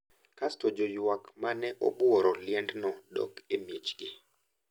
Kasto joywak ma ne obuoro liendno dok e miechgi.